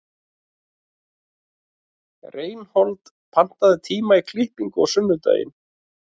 Reinhold, pantaðu tíma í klippingu á sunnudaginn.